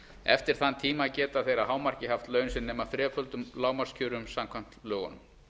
eftir þann tíma geta þeir að hámarki haft laun sem nema þreföldum lágmarkskjörum samkvæmt lögunum